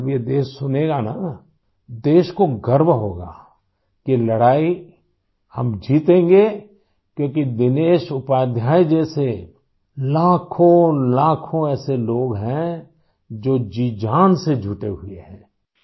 جب یہ ملک سنے گا تو ملک کو فخر ہو گا کہ یہ لڑائی ہم جیتیں گے کیونکہ دنیش اپادھیائے جیسے لاکھوں لوگ ایسے ہیں ، جو جی جان سے لگے ہوئے ہیں